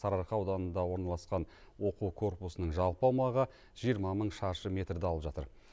сарыарқа ауданында орналасқан оқу корпусының жалпы аумағы жиырма мың шаршы метрді алып жатыр